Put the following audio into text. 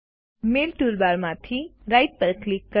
મેલ ટૂલબારમાંથી રાઇટ પર ક્લિક કરો